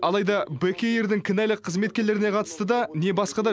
алайда бек эйрдің кінәлі қызметкерлеріне қатысты да не басқа да